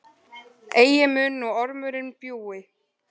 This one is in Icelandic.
Eigi mun nú ormurinn bjúgi,